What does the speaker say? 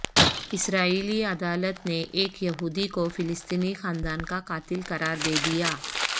اسرائیلی عدالت نے ایک یہودی کو فلسطینی خاندان کا قاتل قرار دے دیا